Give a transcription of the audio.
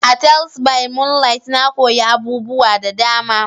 A "Teles by moonlight" na koyi abubuwa da dama.